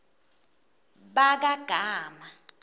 bakagama